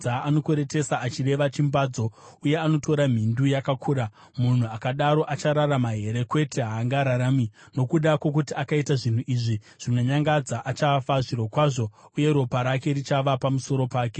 Anokweretesa achireva chimbadzo uye anotora mhindu yakakura. Munhu akadaro achararama here? Kwete, haangararami! Nokuda kwokuti akaita zvinhu izvi zvinonyangadza, achafa, zvirokwazvo, uye ropa rake richava pamusoro pake.